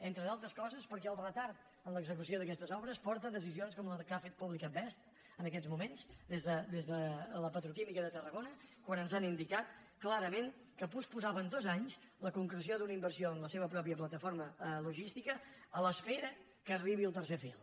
entre altres coses perquè el retard en l’execució d’aquestes obres porta decisions com la que ha fet pública basf en aquests moments des de la petroquímica de tarragona quan ens han indicat clarament que posposaven dos anys la concreció d’una inversió amb la seva pròpia plataforma logística a l’espera que arribi el tercer fil